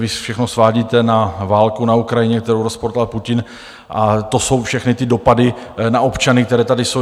Vy všechno svádíte na válku na Ukrajině, kterou rozpoutal Putin, a to jsou všechny ty dopady na občany, které tady jsou.